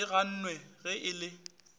e gannwe ge e le